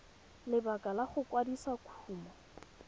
lebaka la go kwadisa kumo